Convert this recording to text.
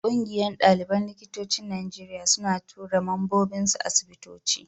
Ƙungiyar ɗaliban likitocin Najeriya suna tura mambobinsu asibitoci.